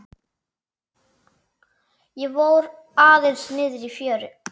Ég fór aðeins niðrí fjöru.